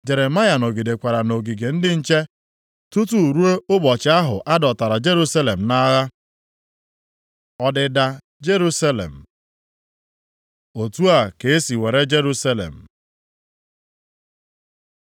Jeremaya nọgidekwara nʼogige ndị nche tutu ruo ụbọchị ahụ a dọtara Jerusalem nʼagha. Ọdịda Jerusalem Otu a ka esi were Jerusalem.